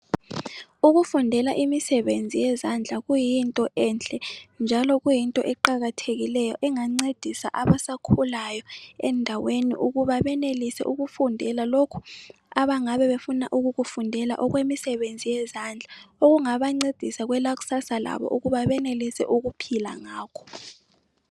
Ukufundela imisebenzi yezandla kuyinto enhle njalo kuyinto eqakathekileyo engancedisa abasakhulayo endaweni ukuba benelise ukufundela lokhu abangabe befuna ukukufundela okwemisebenzi yezandla okungaba ncedisa kwela kusasa labo ukuba benelise ukuphila ngakho.